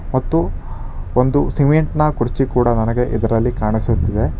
ಮತ್ತು ಒಂದು ಸಿಮೆಂಟ್ ನ ಕುರ್ಚಿ ಕೂಡ ನನಗೆ ಇದರಲ್ಲಿ ಕಾಣಿಸುತ್ತಿದೆ.